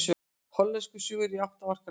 Hollenskur sigur í átta marka leik